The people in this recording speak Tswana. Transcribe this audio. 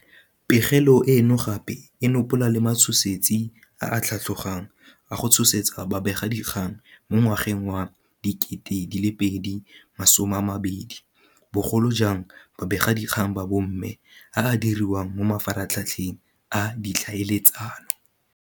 Pegelo eno gape e nopola le matshosetsi a a tlhatlogang a go tshosetsa babegakgang mo ngwageng wa 2020, bogolo jang babegakgang ba bomme a a diriwang mo mafaratlha tlheng a ditlhaeletsano.